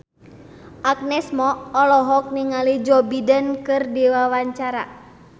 Agnes Mo olohok ningali Joe Biden keur diwawancara